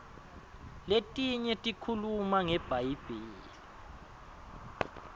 letinye tikhuluma ngebhayibheli